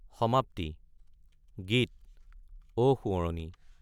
সমাপতি গীত অ সোঁৱৰণি !